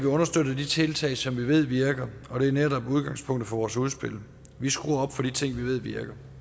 understøtter de tiltag som vi ved virker og det er netop udgangspunktet for vores udspil vi skruer op for de ting vi ved virker